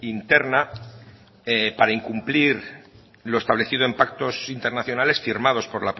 interna e para incumplir lo establecido en pactos internacionales firmados por